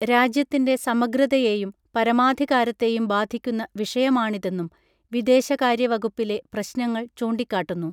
രാജ്യത്തിൻറെ സമഗ്രതയെയും പരമാധികാരത്തെയും ബാധിക്കുന്ന വിഷയമാണിതെന്നും വിദേശകാര്യ വകുപ്പിലെ പ്രശ്നങ്ങൾ ചൂണ്ടിക്കാട്ടുന്നു